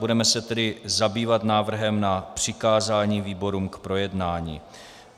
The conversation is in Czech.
Budeme se tedy zabývat návrhem na přikázání výborům k projednání.